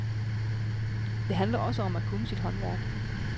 Det handler også om at kunne sit håndværk.